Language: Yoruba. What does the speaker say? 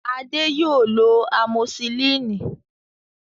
Adé yóò lọ amosilínì